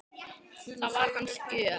Það var hans gjöf.